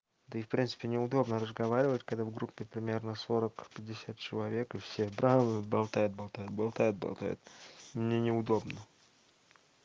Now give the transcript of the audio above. да и в принципе не удобно разговаривать когда в группе примерно сорок пятьдесят человек и все берут болтает болтает болтает болтает мне не удобно